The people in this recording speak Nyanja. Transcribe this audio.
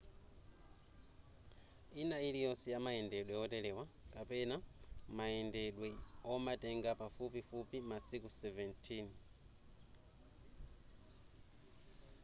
ina iliyonse yamayendedwe oterewa kapena mayendedwe omatenga pafupifupi masiku 17